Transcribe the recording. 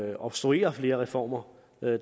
at obstruere flere reformer